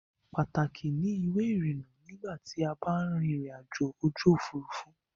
Pàtàkì ni ìwé-ìrinnà nígbà tí a ba ń rin ìrìnajò ojú ̀furufú.